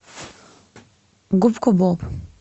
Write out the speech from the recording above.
губка боб